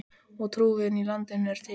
Og trúin í landinu er til.